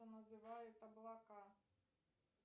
называют облака